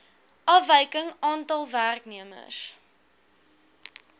afwyking aantal werknemers